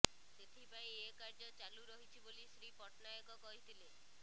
ସେଥିପାଇଁ ଏ କାର୍ଯ୍ୟ ଚାଲୁରହିଛି ବୋଲି ଶ୍ରୀ ପଟ୍ଟନାୟକ କହିଥିଲେ